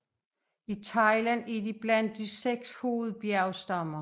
I Thailand er de blandt de seks hovedbjergstammer